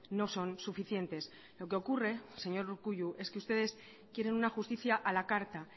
no son suficientes lo que ocurre señor urkullu es que ustedes quieren una justicia a la carta